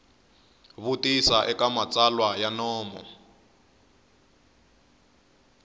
vutisa eka matsalwa ya nomo